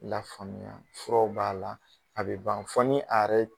La faamuya ,furaw b'a la a bi ban fo ni a yɛrɛ ye